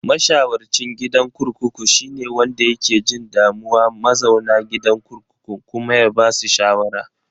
Masharwacin gidan kurkuku shine wanda yake jin damuwa mazauna gidan kurkukun kuma ba basu shawara.